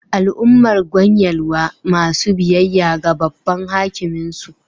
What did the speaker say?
Al'ummar Gwan Yelwa masu biyayya ga Babban Hakimin su